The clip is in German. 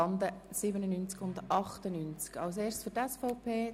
Freudiger hat das Wort für die SVP.